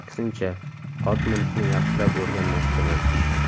Aksincha, ot minishni yaxshilab o‘rganmoqchiman.